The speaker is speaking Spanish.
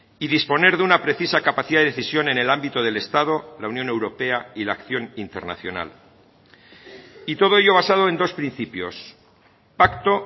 y disponer de una precisa capacidad de decisión en el ámbito del estado la unión europea y la acción internacional y todo ello basado en dos principios pacto